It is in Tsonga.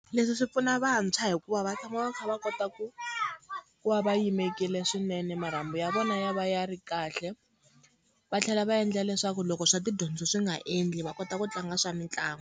Leswi swi pfuna vantshwa hikuva va tshama va kha va kota ku ku va va yimekile swinene, marhambu ya vona ya va ya ri kahle, va tlhela va endla leswaku loko swa tidyondzo swi nga endli va kota ku tlanga swa mitlangu.